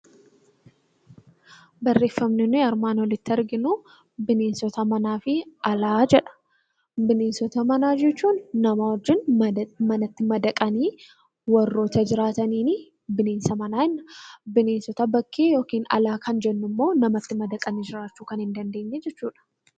Barreeffamni nuti armaan olitti arginu, bineensota manaa fi alaa jedha. Bineensota manaa jechuun nama wajjin madaqanii warroota jiraataniin bineensa manaa jenna. Bineensota bakkee yookiin alaa kan jennu immoo namatti madaqanii jiraachuu kan hin dandeenye jechuudha.